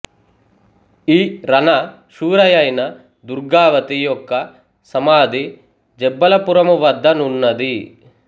ఈ రణ శూరయైన దుర్గావతి యొక్క సమాధి జబ్బలపురమువద్ద నున్నది